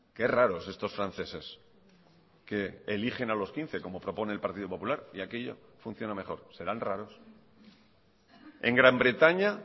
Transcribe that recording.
qué raros estos franceses que eligen a los quince como propone el partido popular y aquello funciona mejor serán raros en gran bretaña